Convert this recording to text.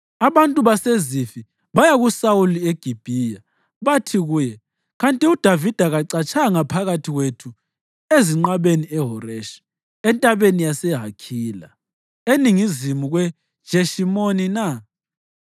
Abantu baseZifi baya kuSawuli eGibhiya bathi kuye, “Kanti uDavida kacatshanga phakathi kwethu ezinqabeni eHoreshi, entabeni yaseHakhila, eningizimu kweJeshimoni na?